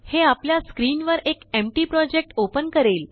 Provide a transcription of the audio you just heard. हे आपल्यास्क्रीनवर एकएम्प्टी प्रोजेक्ट ओपन करेल